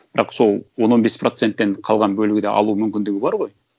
бірақ сол он он бес проценттен қалған бөлігі да алу мүмкіндігі бар ғой